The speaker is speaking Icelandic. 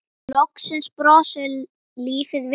Loksins brosir lífið við henni.